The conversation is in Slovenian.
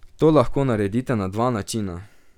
To lahko naredite na dva načina.